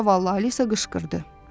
Zavallı Alisa qışqırdı.